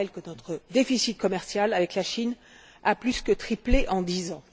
Je rappelle que notre déficit commercial avec la Chine a plus que triplé en dix ans.